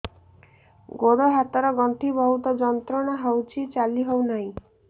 ଗୋଡ଼ ହାତ ର ଗଣ୍ଠି ବହୁତ ଯନ୍ତ୍ରଣା ହଉଛି ଚାଲି ହଉନାହିଁ